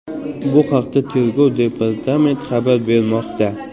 Bu haqda Tergov departamenti xabar bermoqda .